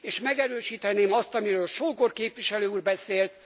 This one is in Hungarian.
És megerősíteném azt, amiről Sógor képviselő úr beszélt.